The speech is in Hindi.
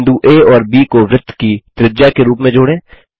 बिंदु आ और ब को वृत्त की त्रिज्या के रूप में जोड़ें